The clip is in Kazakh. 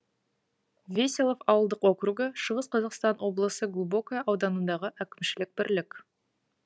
веселов ауылдық округі шығыс қазақстан облысы глубокое ауданындағы әкімшілік бірлік